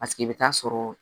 Paseke i bɛ taa sɔrɔ